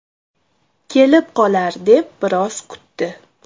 Kelib qolar deb biroz kutdi.